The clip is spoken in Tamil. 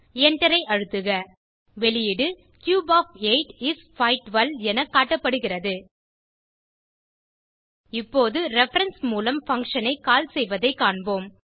எண்டரை அழுத்துக வெளியீடு கியூப் ஒஃப் 8 இஸ் 512 என காட்டப்படுகிறது இப்போது ரெஃபரன்ஸ் மூலம் பங்ஷன் ஐ கால் செய்வதைக் காண்போம்